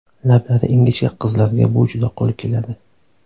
Lablari ingichka qizlarga bu juda qo‘l keladi.